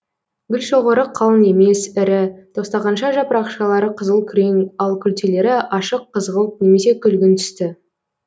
гүлшоғыры қалың емес ірі тостағанша жапырақшалары қызыл күрең ал күлтелері ашық қызғылт немесе күлгін түсті